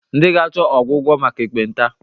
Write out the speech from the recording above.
Ndị ga-achọ ọgwụgwọ maka ekpenta.